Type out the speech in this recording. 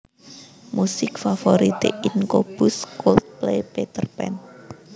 Musik Favorite Incobus Cold Play Peterpan